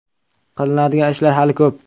Qilinadigan ishlar hali ko‘p.